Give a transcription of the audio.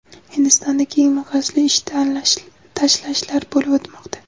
Hindistonda keng miqyosli ish tashlashlar bo‘lib o‘tmoqda.